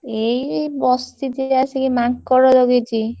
ଏଇ ବସିଛି। ଆସିକି ମାଙ୍କଡ ଜଗିଛି।